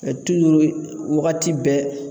wagati bɛɛ